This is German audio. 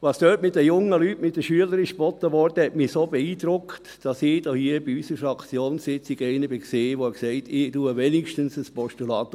Was dort mit den jungen Leuten, mit den Schülern, geboten wurde, hat mich so beeindruckt, sodass ich anlässlich unserer Fraktionssitzung einer war, der sagte: «Ich unterstütze zumindest ein Postulat.»